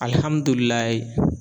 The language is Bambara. Alihamudulilayi